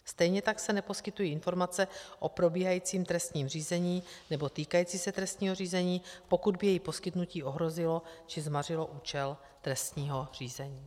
Stejně tak se neposkytují informace o probíhajícím trestním řízení nebo týkající se trestního řízení, pokud by jejich poskytnutí ohrozilo či zmařilo účel trestního řízení.